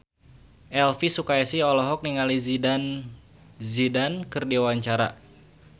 Elvi Sukaesih olohok ningali Zidane Zidane keur diwawancara